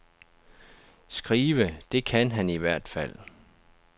Skrive, det kan han i hvert fald.